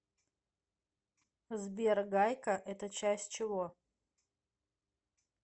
сбер гайка это часть чего